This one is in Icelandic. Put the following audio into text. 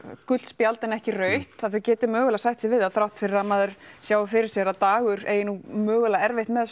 gult spjald en ekki rautt að þau geti mögulega sætt sig við það þrátt fyrir að maður sjái fyrir sér að Dagur eigi nú mögulega erfitt með